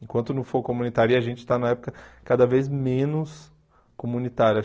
Enquanto não for comunitária, a gente está na época cada vez menos comunitária.